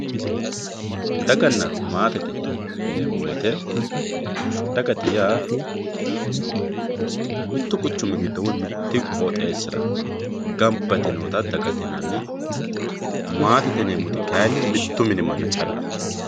daganna maate yiinemo woyiite dagate yaa mittu quchumira woye mite qooxeesira gamba yite noota dagate yinanni maatete yineemoti kayiini mittu mini manna callaho